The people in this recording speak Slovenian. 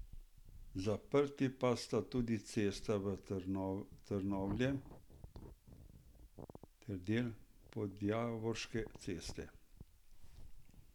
Zaprti pa sta tudi Cesta v Trnovlje ter del Podjavorškove ceste.